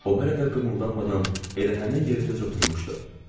O hələ də qımıldanmadan elə həmin yerindəcə oturmuşdu.